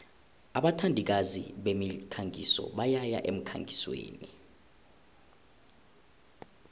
abathandikazi bemikhangiso bayaya emkhangisweni